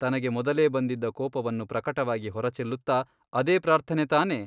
ತನಗೆ ಮೊದಲೇ ಬಂದಿದ್ದ ಕೋಪವನ್ನು ಪ್ರಕಟವಾಗಿ ಹೊರಚೆಲ್ಲುತ್ತ ಅದೇ ಪ್ರಾರ್ಥನೆ ತಾನೇ ?